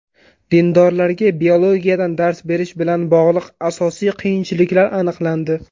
Dindorlarga biologiyadan dars berish bilan bog‘liq asosiy qiyinchiliklar aniqlandi.